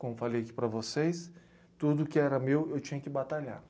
Como eu falei aqui para vocês, tudo que era meu eu tinha que batalhar.